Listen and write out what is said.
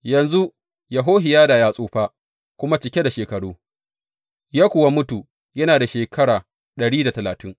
Yanzu Yehohiyada ya tsufa kuma cike da shekaru, ya kuwa mutu yana da shekara ɗari da talatin.